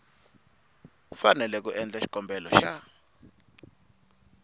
fanele ku endla xikombelo xa